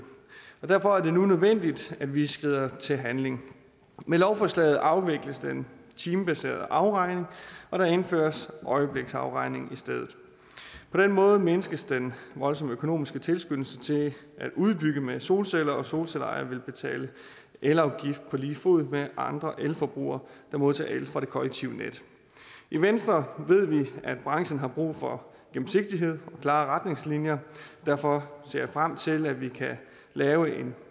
og derfor er det nu nødvendigt at vi skrider til handling med lovforslaget afvikles den timebaserede afregning og der indføres øjebliksafregning i stedet på den måde mindskes den voldsomme økonomiske tilskyndelse til at udbygge med solceller og solcelleejere vil betale elafgift på lige fod med andre elforbrugere der modtager el fra det kollektive net i venstre ved vi at branchen har brug for gennemsigtighed og klare retningslinjer og derfor ser jeg frem til at vi kan lave en